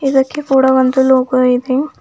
ಇದಕ್ಕೆ ಕೂಡ ಒಂದು ಲೋಗೋ ಇದೆ.